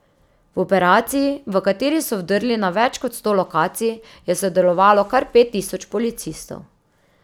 V operaciji, v kateri so vdrli na več kot sto lokacij, je sodelovalo kar pet tisoč policistov.